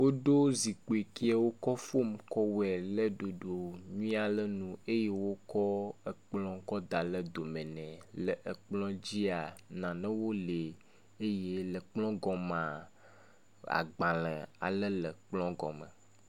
Woɖo zikpui ke wokɔ fom kɔ wɔe ɖe ɖoɖo nyui aɖe nu ye wokɔ ekplɔ kɔ da ɖe dome nɛ. Le ekplɔwo dzia nanewo li eye le ekplɔ gɔmea agbale aɖe le ekplɔ gɔme.